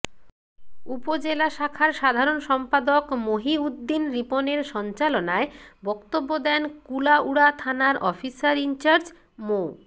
উপজেলা শাখার সাধারণ সম্পাদক মহিউদ্দিন রিপনের সঞ্চালনায় বক্তব্য দেন কুলাউড়া থানার অফিসার ইনচার্জ মো